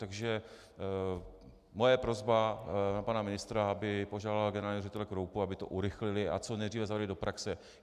Takže moje prosba na pana ministra, aby požádal generálního ředitele Kroupu, aby to urychlili a co nejdříve zařadili do praxe.